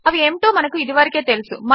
అవి ఏమిటో మనకు ఇదివరకే తెలుసు